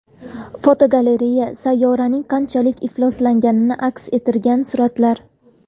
Fotogalereya: Sayyoraning qanchalik ifloslanganini aks ettirgan suratlar.